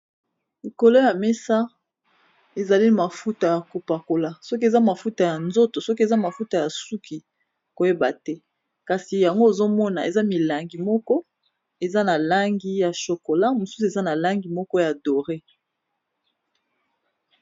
Likolo ya mesa ezali mafuta ya kopakola soki eza mafuta ya nzoto soki eza mafuta ya suki koyeba te. Kasi yango ozo mona eza milangi moko eza na langi ya chocolat, mosusu eza na langi moko ya doré.